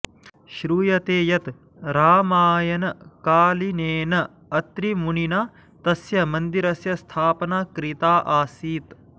श्रूयते यत् रामायणकालिनेन अत्रिमुनिना तस्य मन्दिरस्य स्थापना कृता आसीत्